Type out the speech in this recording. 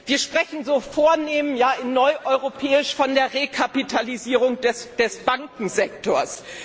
Wir sprechen so vornehm in Neueuropäisch von der Rekapitalisierung des Bankensektors.